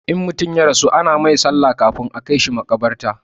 In mutum ya rasu ana mai sallah kan a kaishi makabarta